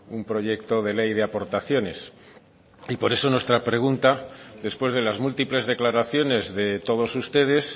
un proyecto de ley de aportaciones y por eso nuestra pregunta después de las múltiples declaraciones de todos ustedes